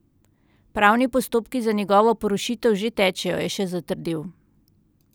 Pravni postopki za njegovo porušitev že tečejo, je še zatrdil.